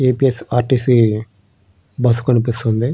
ఏ. P. S. R. T. C. Bus కనిపిస్తుంది.